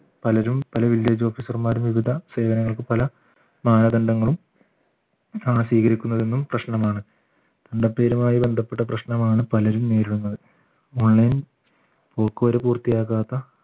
പലരും പല village officer മാരും വിവിധ സേവനങ്ങൾക്ക് പല മാനദണ്ഡങ്ങളും ആ സ്വീകരിക്കുന്നതെന്നും പ്രശ്നമാണ് ബന്ധപ്പെട്ട് പ്രശ്നമാണ് പലരും നേരിടുന്ന online പോക്ക് വരവ് പൂർത്തിയാകാത്ത